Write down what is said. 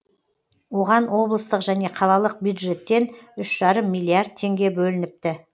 оған облыстық және қалалық бюджеттен үш жарым миллиард теңге бөлініпті